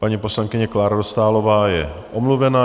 Paní poslankyně Klára Dostálová je omluvená.